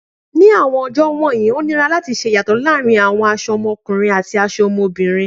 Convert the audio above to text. Ni awọn ọjọ wọnyi, o nira lati ṣe iyatọ laarin awọn ọmọkunrin ati aṣọ ọmọbirin